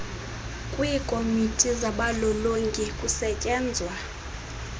kwiikomiti zabalolongi kusetyenzwa